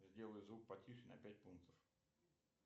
сделай звук потише на пять пунктов